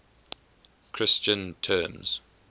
christian terms